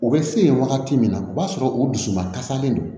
U bɛ se yen wagati min na o b'a sɔrɔ u dusuma kasalen don